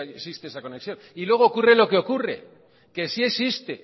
existe esa conexión y luego ocurre lo que ocurre que sí existe